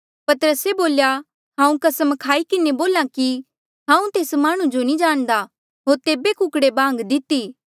पतरसे बोल्या हांऊँ कसम खाई किन्हें बोल्हा कि हांऊँ तेस माह्णुं जो नी जाणदा होर तेभे कुकड़े बांग दिती